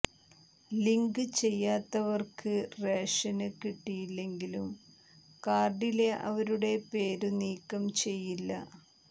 link ചെയ്യാത്തവര്ക്ക് ration കിട്ടില്ലെങ്കിലും കാര്ഡിലെ അവരുടെ പേരു നീക്കം ചെയ്യില്ല